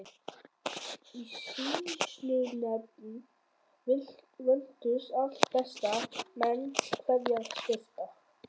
Í sýslunefnd völdust alltaf bestu menn hverrar sveitar.